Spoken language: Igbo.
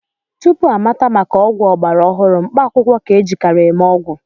Tupu amata maka ọgwụ ọgbara ọhụrụ, mkpaakwụkwọ ka-ejikarị eme ọgwụ